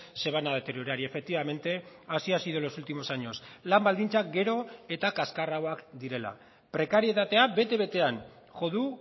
se van a deteriorar y efectivamente así ha sido en los últimos años lan baldintzak gero eta kaxkarragoak direla prekarietatea bete betean jo du